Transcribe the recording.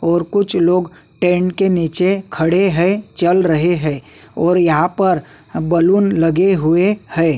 और कुछ लोग टेंट के निचे खड़े हैं चल रहे हैं और यहाँ पर बैलून लगे हुए हैं।